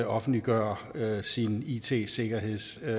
offentliggør sin it sikkerhedsstrategi